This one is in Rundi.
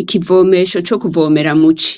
ikivomesho cokuvomera muci